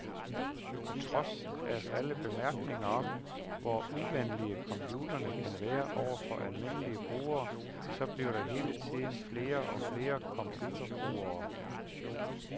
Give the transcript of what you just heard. På trods af alle bemærkningerne om, hvor uvenlige computerne kan være over for almindelige brugere, så bliver der hele tiden flere og flere computerbrugere.